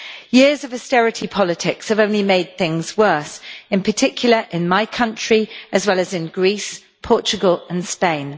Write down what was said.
Years of austerity politics have only made things worse, in particular in my country, as well as in Greece, Portugal and Spain.